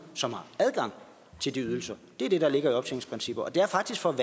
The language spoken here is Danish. som har adgang til de ydelser det er det der ligger i optjeningsprincipper og det er faktisk for at